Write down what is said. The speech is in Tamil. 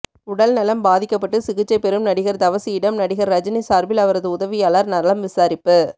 உடல்நலம் பாதிக்கப்பட்டு சிகிச்சை பெறும் நடிகர் தவசியிடம் நடிகர் ரஜினி சார்பில் அவரது உதவியாளர் நலம் விசாரிப்பு